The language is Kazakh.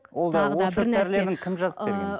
ол да ол шөп дәрілерін кім жазып берген